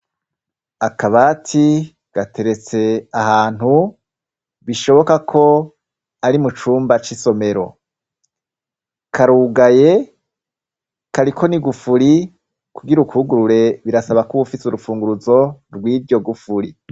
Akabati gateretse ahantu bishoboka ko ari mu cumba c'isomero, karugaye kariko nigufuri kugira ukugurure birasaba ko bufite urufunguruzo rw'iryo gufuri.